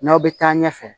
N'aw bɛ taa ɲɛfɛ